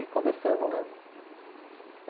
E conversando, né?